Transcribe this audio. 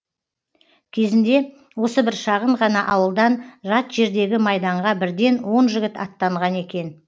кезінде осы бір шағын ғана ауылдан жат жердегі майданға бірден он жігіт аттанған екен